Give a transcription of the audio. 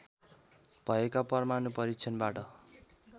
भएका परमाणु परीक्षणबाट